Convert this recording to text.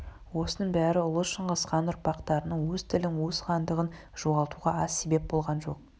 осының бәрі ұлы шыңғысхан ұрпақтарының өз тілін өз хандығын жоғалтуға аз себеп болған жоқ